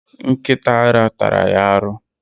Nkita ara tara ya aru.